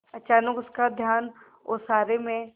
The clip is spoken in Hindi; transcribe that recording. अचानक उसका ध्यान ओसारे में